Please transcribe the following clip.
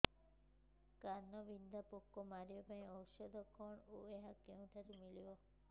କାଣ୍ଡବିନ୍ଧା ପୋକ ମାରିବା ପାଇଁ ଔଷଧ କଣ ଓ ଏହା କେଉଁଠାରୁ ମିଳିବ